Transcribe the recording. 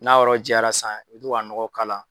N'a yɔrɔ jayara san i bi to ka nɔgɔ k'ala